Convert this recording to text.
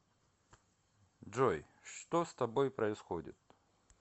джой что с тобой происходит